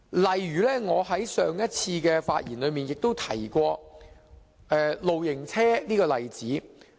例如，我在上一次的發言中提及露營車這個例子。